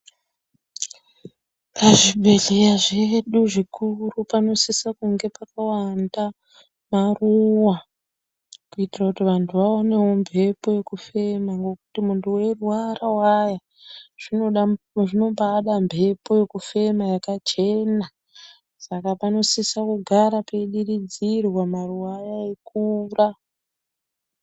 Pazvibhedhlera zvedu zvikuru, panosise kunge pakawanda maruva, kuitira kuti vantu vaonewo mphepo yekufema. Weirwarawaya, zvinombaada mphepo yakachena ,saka panosiso kugara peidiridzirwa maruwa aya eikura.